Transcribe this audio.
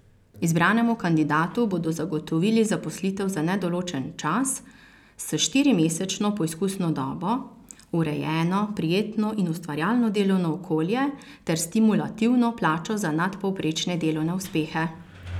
Izbranemu kandidatu bodo zagotovili zaposlitev za nedoločen čas s štirimesečno poizkusno dobo, urejeno, prijetno in ustvarjalno delovno okolje ter stimulativno plačo za nadpovprečne delovne uspehe.